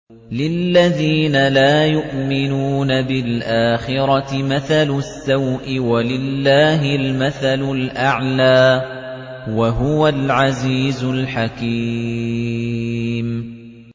لِلَّذِينَ لَا يُؤْمِنُونَ بِالْآخِرَةِ مَثَلُ السَّوْءِ ۖ وَلِلَّهِ الْمَثَلُ الْأَعْلَىٰ ۚ وَهُوَ الْعَزِيزُ الْحَكِيمُ